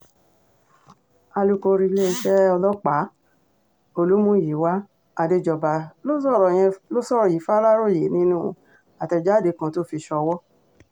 alūkóríléeṣẹ́ ọlọ́pàá olùmúyẹ́wá àdéjọba ló sọ̀rọ̀ yen ló sọ̀rọ̀ yìí faláròyé nínú àtẹ̀jáde kan tó fi ṣòwò